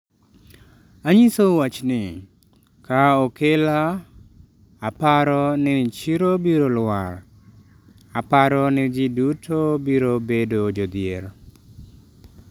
"""Anyisou wachni, ka okela aparo ni chiro biro lwar, aparo ni ji duto biro bedo jodhier."""